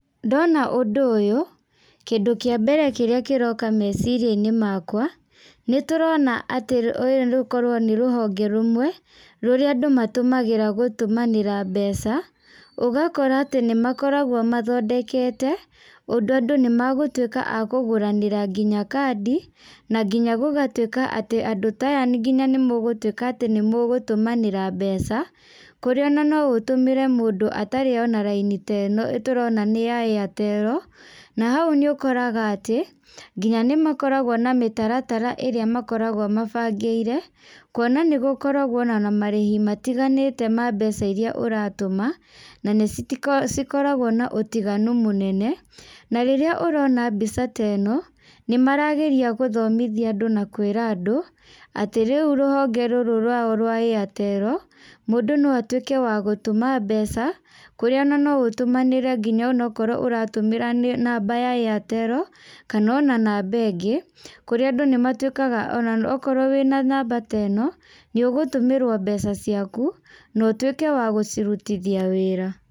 Ndona ũndũ ũyũ, kĩndũ kĩa mbere kĩrĩa kĩroka meciria-inĩ makwa, nĩ tũrona atĩ ũyũ rũkorwo nĩ rũhonge rũmwe, rũrĩa andũ matũmagĩra gũtũmanĩra mbeca. Ũgakora atĩ nĩ makoragwo mathondekete, ũndũ andũ nĩ magũtuĩka a kũgũranĩra nginya kandi, na nginya gũgatuĩka atĩ andũ ta aya nginya nĩ mũgũtuĩka atĩ nĩ mũgũtũmanĩra mbeca. Kũrĩa ona no ũtũmĩre mũndũ atarĩ ona laini ta ĩno tũrona nĩ ya Airtel. Na hau nĩ ũkoraga atĩ, nginya nĩ makoragwo na mĩtaratara ĩrĩa makoragwo mabangĩire, kuona nĩ gũkoragwo ona na marĩhi matiganĩte ma mbeca irĩa ũratũma, na nĩ cikoragwo na ũtiganu mũnene. Na rĩrĩa ũrona mbica ta ĩno, nĩ marageria gũthomithia andũ na kwĩra andũ, atĩ rĩu rũhonge rũrũ rwao rwa Airtel, mũndũ no atuĩke wa gũtũma mbeca, kũrĩa ona no ũtũmanĩre nginya onokorwo ũratũmĩra namba ya Airtel, kana ona namba ĩngĩ Kũrĩa andũ nĩ matuĩkaga ona okorwo wĩna namba ta ĩno, nĩ ũgũtũmĩrwo mbeca ciaku, na ũtuĩke wa gũcirutithia wĩra.